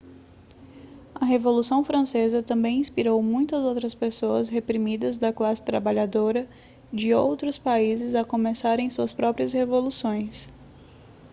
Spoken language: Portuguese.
a revolução francesa também inspirou muitas outras pessoas reprimidas da classe trabalhadora de outros países a começarem suas próprias revoluções